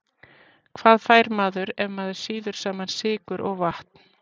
Hvað fær maður ef maður sýður saman sykur og vatn?